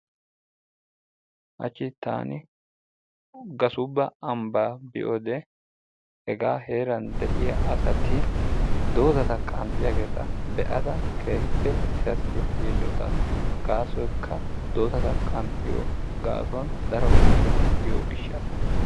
Haachchi taani gasuubba ambbaa biyoode hegaa heeran de'iyaa asati doozata qanxxiyaageta be'ada keehipe etasi yiilotaas. gasoykka doozata qanxxiyoo gaasuwaan daro metoti yiyoo giishasa.